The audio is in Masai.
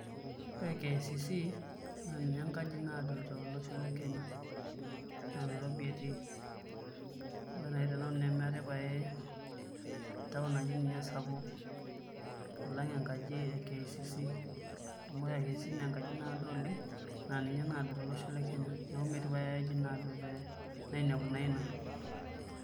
Ore KICC naa ninye enkaji naado tolosho Le Kenya naa Nairobi etii ore nai Tenanu nemetae pae town naji ninye esapuk alang enkaji KICC amu ore KICC naa enkaji naado oleng' naa inye naado tolosho Le Kenya neeku metii pae ae aji naado ee nainepu naa ina